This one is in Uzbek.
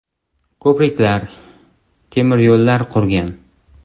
Ko‘priklar, temiryo‘llar qurgan.